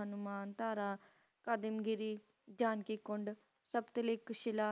ਹਨੂੰਮਾਨ ਤਾਰਾ ਪੈਡਿਗਿਰੀ ਜਾਦਿਗੁਣ ਲੀਕਹ ਸ਼ੀਲਾ